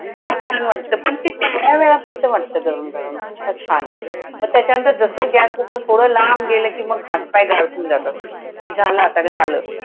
तेव्हा छान वाटतं. पण ते तेवढ्यापुरतं वाटतं गरम गरम. छान! मग त्याच्यानंतर जसं गॅसपासनं थोडं लांब गेलं, कि मग हात पाय गारठून जातात. कि झालं आता झालं.